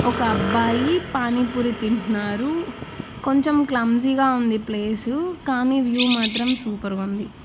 ఒక అబ్బాయి పానీపూరి తింటున్నారు కొంచెం క్లమ్సిగా ఉంది ప్లేసు కానీ వ్యూ మాత్రం సూపర్ గా ఉంది.